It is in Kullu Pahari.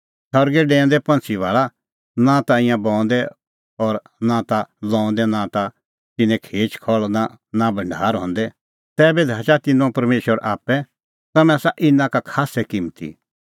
सरगै डैऊंदै पंछ़ी भाल़ा ईंयां नां ता बऊंदै और नां ता लऊंदै नां ता तिन्नें खेच खहल़ नां भढार हंदै तैबी धाचा तिन्नां परमेशर आप्पै तम्हैं आसा इना का खास्सै किम्मती